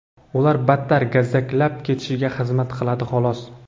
ularni battar gazzaklab ketishiga xizmat qiladi, xolos.